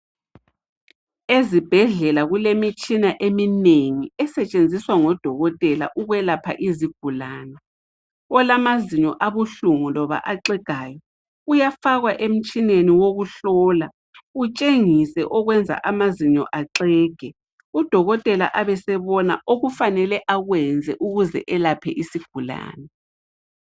Ezibhedlela kulemitshina eminengi esetsenziswa ngodokotela ukwelapha izigulane olamazinyo abuhlungu loba axegayo uyafakwa emtshineni wokuhlola utsengise okwenza amazinyo axege udokotela abesebona okufanele akwenze ukuze elaphe isigulane .